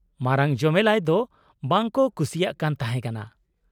-ᱢᱟᱨᱟᱝ ᱡᱚᱢᱮᱞᱟᱭ ᱫᱚ ᱵᱟᱝ ᱠᱚ ᱠᱩᱥᱤᱭᱟᱜ ᱠᱟᱱ ᱛᱟᱦᱮᱸᱠᱟᱱᱟ ᱾